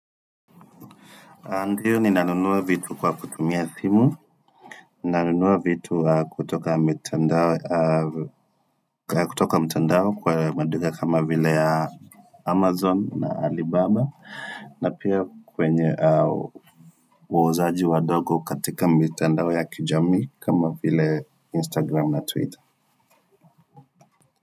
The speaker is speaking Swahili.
Ndio ninanunua vitu kwa kutumia simu, nanunua vitu kutoka mitandao kutoka mtandao kwa maduka kama vile ya Amazon na Alibaba, na pia kwenye wauzaji wadogo katika mitandao ya kijamii kama vile Instagram na Twitter.